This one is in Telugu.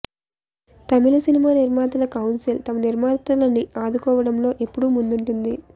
తమిళ్ సినిమా నిర్మాతల కౌన్సిల్ తమ నిర్మాతలని ఆదుకోవడంలో ఎప్పుడూ ముందుంటుంది